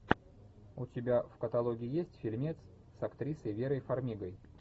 у тебя в каталоге есть фильмец с актрисой верой фармигой